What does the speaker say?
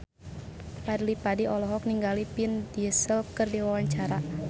Fadly Padi olohok ningali Vin Diesel keur diwawancara